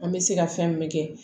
An bɛ se ka fɛn min kɛ